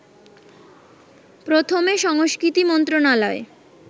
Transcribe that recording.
প্রথমে সংস্কৃতি মন্ত্রণালয়